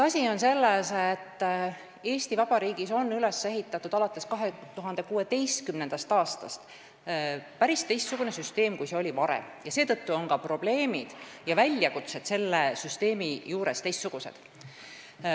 Asi on selles, et Eesti Vabariigis on alates 2016. aastast üles ehitatud hoopis teistsugune süsteem, kui oli varem, ja seetõttu on ka probleemid selle puhul teistsugused.